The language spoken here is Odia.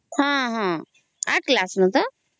ହଁ ହଁ ଆଠ କ୍ଲାସ ରୁ ତ